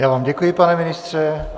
Já vám děkuji, pane ministře.